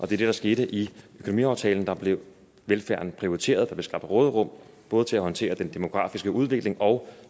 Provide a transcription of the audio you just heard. det der skete i økonomiaftalen der blev velfærden prioriteret og der blev skabt råderum både til at håndtere den demografiske udvikling og